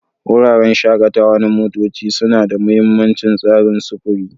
Wuraren shakatawa na motoci suna da mahimmancin tsarin sufuri.